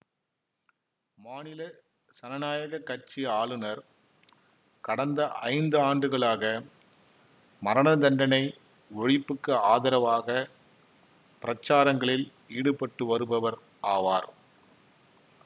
மாநில சனநாயக கட்சி ஆளுனர் கடந்த ஐந்து ஆண்டுகளாக மரணதண்டனை ஒழிப்புக்கு ஆதரவாக பிரசாரங்களில் ஈடுபட்டு வருபவர் ஆவார்